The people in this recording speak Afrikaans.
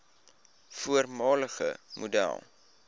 voormalige model